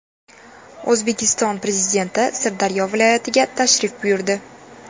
O‘zbekiston Prezidenti Sirdaryo viloyatiga tashrif buyurdi .